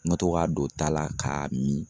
N ka to k'a don da la k'a mi